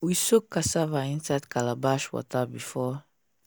we soak cassava inside calabash water before